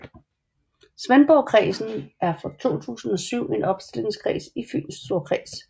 Svendborgkredsen er fra 2007 en opstillingskreds i Fyns Storkreds